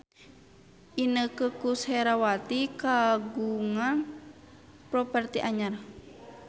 Inneke Koesherawati kagungan properti anyar